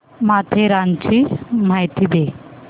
माथेरानची माहिती दे